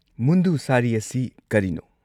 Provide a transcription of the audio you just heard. ꯃꯨꯟꯗꯨ ꯁꯥꯔꯤ ꯑꯁꯤ ꯀꯔꯤꯅꯣ?